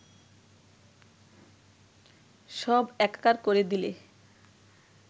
সব একাকার করে দিলে